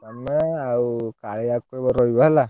ଆମେ ଆଉ ରହିବ ହେଲା।